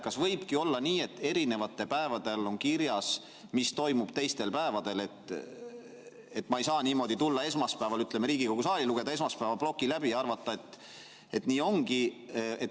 Kas võib olla nii, et erinevatel päevadel on kirjas, mis toimub teistel päevadel, et ma ei saa tulla esmaspäeval Riigikogu saali ja lugeda esmaspäevase ploki läbi ja arvata, et nii ongi?